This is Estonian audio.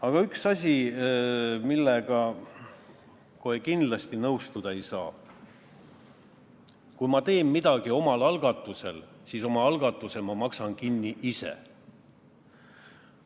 Aga üks asi, millega kohe kindlasti nõustuda ei saa: kui ma teen midagi omal algatusel, siis oma algatuse ma maksan kinni ise.